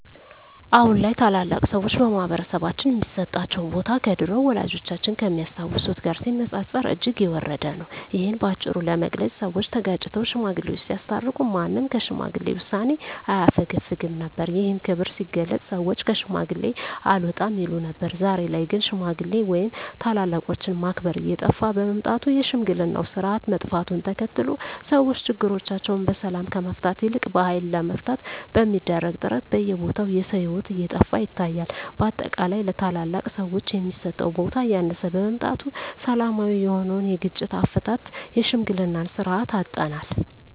አሁን ላይ ታላላቅ ሰዎች በማህበረሰባችን ሚሰጣቸው ቦታ ከድሮው ወላጆቻችን ከሚያስታውሱት ጋር ሲነጻጸር እጅግ የወረደ ነው። እሂን በአጭሩ ለመግለጽ ሰወች ተጋጭተው ሽማግሌወች ሲያስታርቁ ማንም ከሽማግሌ ውሳኔ አያፈገፍግም ነበር። ይህም ክብር ሲገለጽ ሰወች ከሽማግሌ አልወጣም ይሉ ነበር። ዛሬ ላይ ግን ሽማግሌ ወይም ታላላቆችን ማክበር እየጠፋ በመምጣቱ የሽምግልናው ስርአት መጥፋቱን ተከትሎ ሰወች ችግሮቻቸውን በሰላም ከመፍታት ይልቅ በሀይል ለመፍታት በሚደረግ ጥረት በየቦታው የሰው ሂወት እየጠፋ ይታያል። በአጠቃላይ ለታላላቅ ሰወች የሚሰጠው ቦታ እያነሰ በመምጣቱ ሰላማዊ የሆነውን የግጭት አፈታት የሽምግልናን ስርአት አጠናል።